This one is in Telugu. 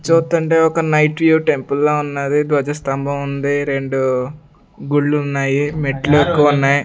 చూస్తుంటే ఒక నైట్ వ్యూ టెంపుల్ లా ఉన్నది ధ్వజస్థంభం ఉంది రెండు గుళ్ళు ఉన్నాయి మెట్లు ఎక్కువ ఉన్నాయి.